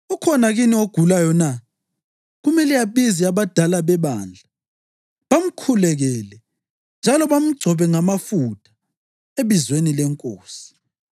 Ukhona kini ogulayo na? Kumele abize abadala bebandla bamkhulekele njalo bamgcobe ngamafutha ebizweni leNkosi.